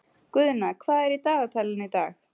Guðna, hvað er í dagatalinu í dag?